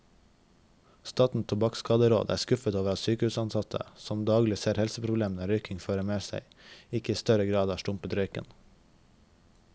Statens tobakkskaderåd er skuffet over at sykehusansatte, som daglig ser helseproblemene røykingen fører med seg, ikke i større grad har stumpet røyken.